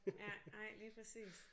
Ja nej lige præcis